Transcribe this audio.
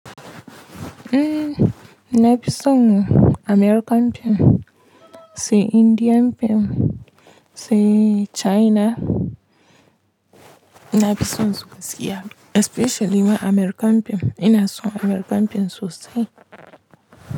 Eh, na fi son American film, sai Indian film, sai China. Na fi son su gaskiya especially ma American film. Ina son American film sosai.